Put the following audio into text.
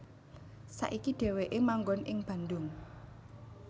Saiki Dhéwéké manggon ing Bandung